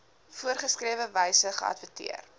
voorgeskrewe wyse geadverteer